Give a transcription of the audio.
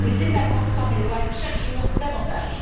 Les États membres s'en éloignent chaque jour davantage.